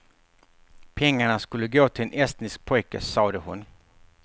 Pengarna skulle gå till en estnisk pojke, sade hon.